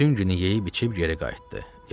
Bütün günü yeyib-içib geri qayıtdı.